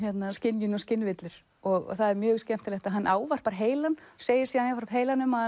skynjun og skynvillur það er mjög skemmtilegt að hann ávarpar heilann segir síðan jafnframt heilanum að